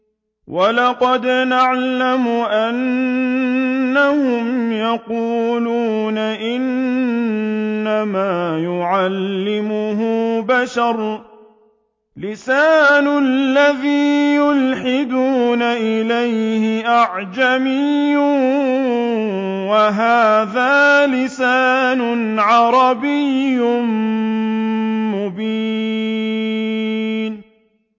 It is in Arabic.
وَلَقَدْ نَعْلَمُ أَنَّهُمْ يَقُولُونَ إِنَّمَا يُعَلِّمُهُ بَشَرٌ ۗ لِّسَانُ الَّذِي يُلْحِدُونَ إِلَيْهِ أَعْجَمِيٌّ وَهَٰذَا لِسَانٌ عَرَبِيٌّ مُّبِينٌ